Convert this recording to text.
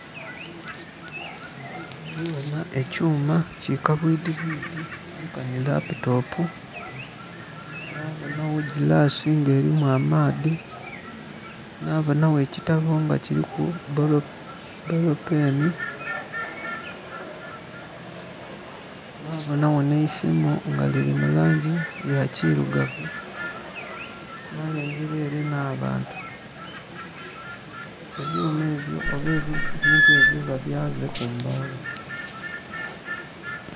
Ndhi bona ekyuma ki kabwidhibwidhi nkani laputopu nabonawo girasi nga erimu amaadhi nabonawo ekitabo nga kiriku bbolo peni nabonawo n'eisimu nga liri mu langi ya kirugavu, nalengera ere n'abantu. Ebyuma ebyo oba ebintu ebyo babyaze ku mbagho.